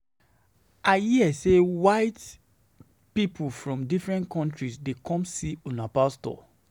I hear say white people from different countries dey come see una pastor